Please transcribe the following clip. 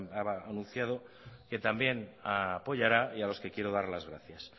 anunciado que también apoyará y a los que quiero darles las gracias